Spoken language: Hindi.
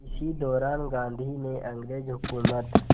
इसी दौरान गांधी ने अंग्रेज़ हुकूमत